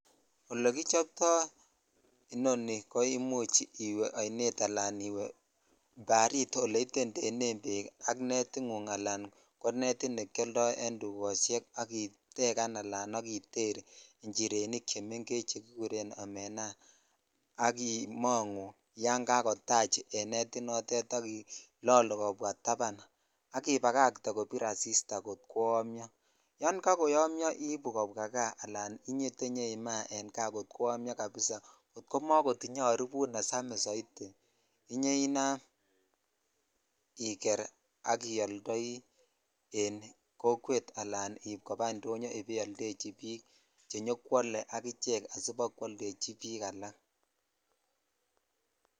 Ole kichoptoi inoni ko imuch iwe ainet ala barit oleitetenen bek ak netit ngung ala ko netit ne kioldo dukoshek ak itekan ala iter ichirenik chemengech chekikuren omenaa ak imongu ya kskotach en netitnotet ak ilolu kobwa taban ak ibakatee kobir asista kot koymyo yon kakoymyo ibu kobwa kaa ala indenyoimaa en kaa kot koyomyo kabisa kot komakotich aribut nesamis soitiinyoinam iker ak iyoldoi en kokwet alan en iip kopa indonyoo ibaioldechi bik chenyokwole ak ichek asibakwoldechi bik alak.